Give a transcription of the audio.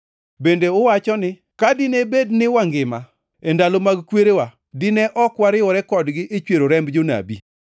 Bende uwacho ni, ‘Ka dine bed ni wangima e ndalo mag kwerewa, dine ok wariwore kodgi e chwero remb jonabi.’